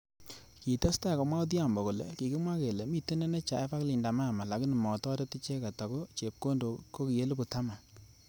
Kitestati komwa Odhiambo kole kikimwa kele mitei NHIF ak Linda amama lakini motoret icheket ako chepkondok koki elipu taman.